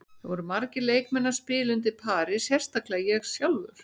Það voru margir leikmenn að spila undir pari, sérstaklega ég sjálfur.